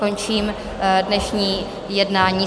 Končím dnešní jednání.